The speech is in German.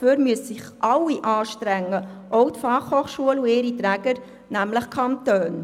Dafür müssten sich alle anstrengen, auch die FH und ihre Träger, also die Kantone.